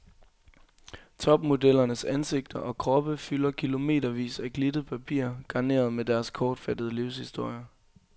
Topmodellernes ansigter og kroppe fylder kilometervis af glittet papir, garneret med deres kortfattede livshistorier.